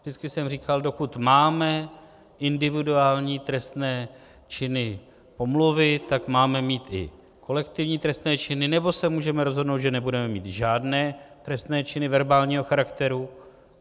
Vždycky jsem říkal, dokud máme individuální trestné činy pomluvy, tak máme mít i kolektivní trestné činy, nebo se můžeme rozhodnout, že nebudeme mít žádné trestné činy verbálního charakteru.